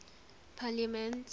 parliaments